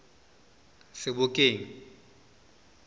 sebokeng